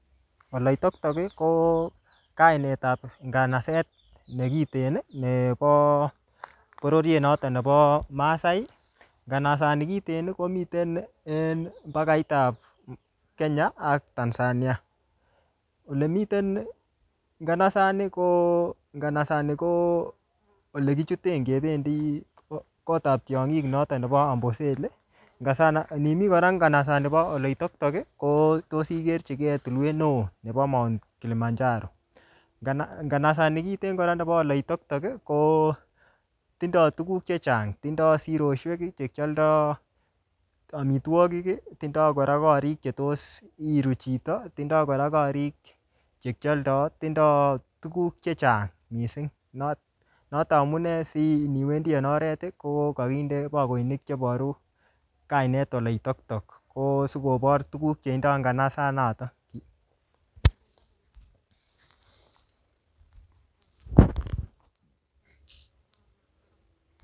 Oleitoktok ko kainetab nganaset nekiten nebo bororiet noto nebo maasai. Nganasani kiten komiten enmbapait ab Kenya ak Tanzania. Olemiten nganasani ko, nganasani ko olekichuten ngebendi kotab tiongik noto nebo Amboseli. Nimi kora nganasani bo Oleitoktok ko tos igerchige tulwet neo nebo Mt. Kilimanjaro. Nganasani kiten kora nebo Oleitoktok ko tindo tuguk che chang. Tindo sirosiek che kialdo amitwogik, tindo kora korik chetos iru chito. Tindo kora korik chekialdo. Tindo tuguk che chang mising noto amune siniwendi en oret ko kaginde bakoinik cheboru kainet Oleitoktok. Ko sigobor tuguk che indoi inganasonoto.